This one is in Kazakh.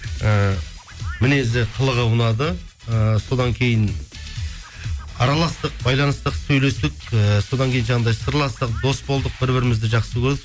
ііі мінезі қылығы ұнады ыыы содан кейін араластық байланыстық сөйлестік ііі содан кейін жаңағыдай сырластық дос болдық бір бірімізді жақсы